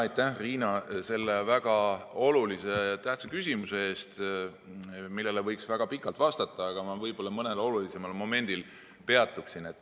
Aitäh, Riina, selle väga olulise ja tähtsa küsimuse eest, millele võiks väga pikalt vastata, aga ma peatun võib‑olla mõnel olulisemal momendil.